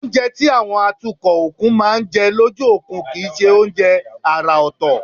Oúnjẹ táwọn atukọ̀ òkun máa ń jẹ lójú òkun kì í ṣe oúnjẹ àrà ọ̀tọ̀